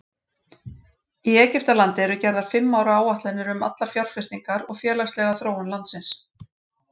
Í Egyptalandi eru gerðar fimm ára áætlanir um allar fjárfestingar og félagslega þróun landsins.